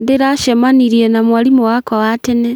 Ndĩracemanirie na mwarimũ wakwa wa tene